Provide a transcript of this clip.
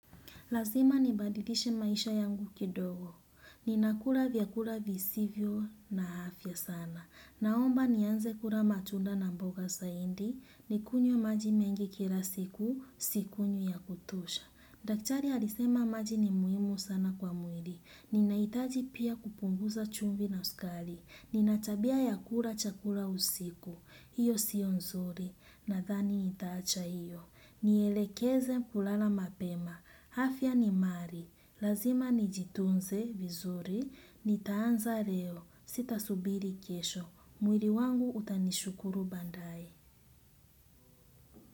Lazima nibadilishe maisha yangu kidogo. Ninakula vyakula visivyo na afya sana. Naomba nianze kula matunda na mboga saindi. Nikunywe maji mengi kila siku, sikunywi ya kutosha. Daktari alisema maji ni muhimu sana kwa mwili. Ninahitaji pia kupunguza chumvi na sukari. Ninatabia ya kula chakula usiku. Iyo siyo nzuri, nadhani nitaacha hiyo. Nielekeze kulala mapema. Afya ni mali lazima nijitunze vizuri. Nitaanza leo, sitasubiri kesho. Mwili wangu utanishukuru baadae.